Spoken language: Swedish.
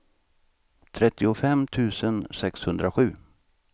trettiofem tusen sexhundrasju